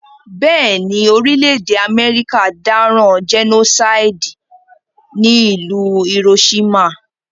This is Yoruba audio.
Béèni, orílẹ̀dè America dáràn genocide ní ìlú Hiroshima